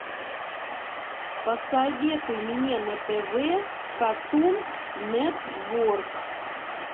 посоветуй мне на тв картун нетворк